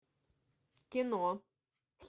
кино